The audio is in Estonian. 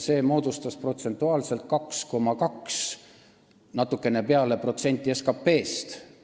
See moodustas protsentuaalselt 2,2 ja natukene peale protsenti SKT-st.